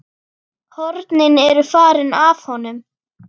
Hornin eru farin af honum.